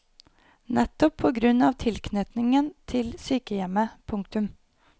Nettopp på grunn av tilknytningen til sykehjemmet. punktum